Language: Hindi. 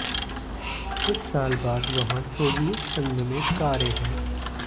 कुछ साल बाद वहाँ सोवियत संघ में कारें हैं